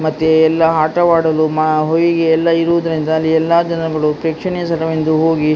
ಮತ್ತೆ ಎಲ್ಲ ಆಟವಾಡಲು ಮ- ಹೊಯಿಗೆ ಎಲ್ಲ ಇರುವುದರಿಂದ ಅಲ್ಲಿ ಎಲ್ಲ ಜನಗಳು ಪ್ರೇಕ್ಷಣಿಕ ಸ್ಥಳವೆಂದು ಹೋಗಿ--